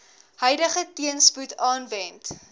huidige teenspoed aanwend